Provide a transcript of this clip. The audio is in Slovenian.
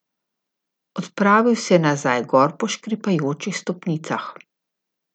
Odpravil se je nazaj gor po škripajočih stopnicah.